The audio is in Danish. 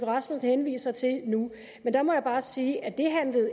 rasmussen henviser til nu men der må jeg bare sige at det